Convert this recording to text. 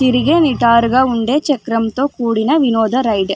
తిరిగే విటరుగా ఉండే చక్రంతో కూడిన వినోద రైడ్ .